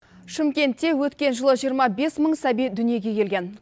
шымкентте өткен жылы жиырма бес мың сәби дүниеге келген